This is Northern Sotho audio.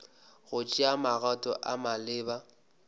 go tšea magato a maleba